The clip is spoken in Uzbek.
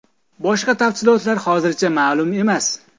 Boshqa tafsilotlar hozircha ma’lum emas.